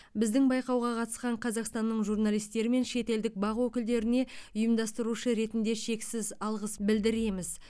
біздің байқауға қатысқан қазақстанның журналистері мен шетелдік бақ өкілдеріне ұйымдастырушы ретінде шексіз алғыс білдіреміз